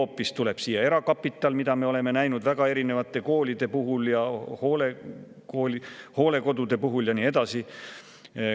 Või tuleb siia hoopis erakapital, mida me oleme näinud väga erinevate koolide puhul ja hoolekodude puhul?